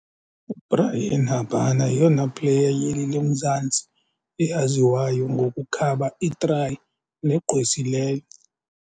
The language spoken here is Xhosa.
UBryan Habana yeyona player yeli loMzantsi eyaziwayo ngokukhaba iitrayi negqwesileyo.